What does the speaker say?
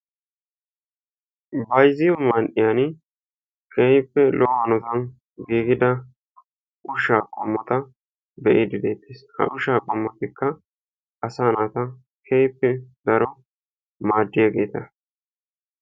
Bayzziyo man"iyan keehippe lo"o hanotan giigida ushshaa qommota be'iiddi deettees. Ha ushshaa qommotikka asaa naata keehippe daro maaddiyageeta.